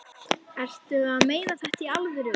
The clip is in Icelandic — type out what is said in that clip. Ertu að meina þetta í alvöru?